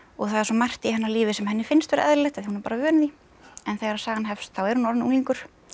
það er svo margt í hennar lífi sem henni finnst eðlilegt af því hún er vön því en þegar sagan hefst þá er hún orðin unglingur